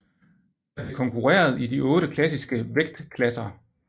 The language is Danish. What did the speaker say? Der blev konkurreret i de otte klassiske vægtklasser